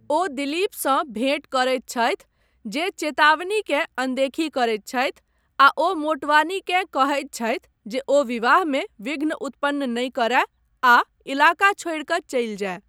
ओ दिलीपसँ भेँट करैत छतहि जे चेतावनीकेँ अनदेखी करैत छथि आ ओ मोटवानीकेँ कहैत छथि जे ओ विवाहमे विघ्न उत्पन्न नहि करय आ इलाका छोड़ि कऽ चलि जाय।